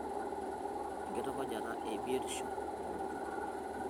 Enkitukujata e biotishoo oonkutukie.